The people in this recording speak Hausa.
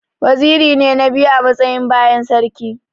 Waziri ne na biyu a matsayi bayan sarki.